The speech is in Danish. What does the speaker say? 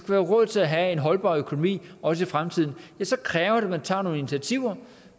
være råd til at have en holdbar økonomi også i fremtiden ja så kræver det at man tager nogle initiativer